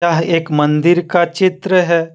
यह एक मंदिर का चित्र है।